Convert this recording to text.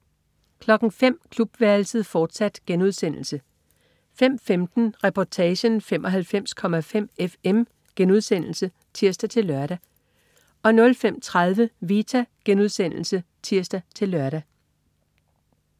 05.00 Klubværelset, fortsat* 05.15 Reportagen: 95,5 FM* (tirs-lør) 05.30 Vita* (tirs-lør)